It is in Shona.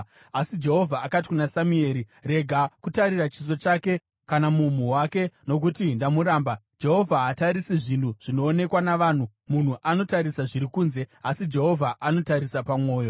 Asi Jehovha akati kuna Samueri, “Rega kutarira chiso chake kana mumhu wake, nokuti ndamuramba. Jehovha haatarisi zvinhu zvinoonekwa navanhu. Munhu anotarisa zviri kunze, asi Jehovha anotarisa pamwoyo.”